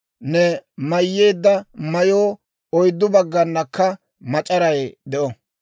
«Ne mayyeedda mayoo oyddu bagganakka mac'aray de'o.